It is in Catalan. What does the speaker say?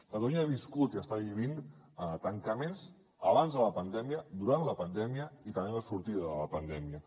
catalunya ha viscut i està vivint tancaments abans de la pandèmia durant la pandèmia i també en la sortida de la pandèmia